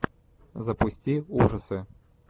запусти ужасы